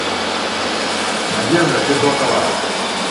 надежда федотова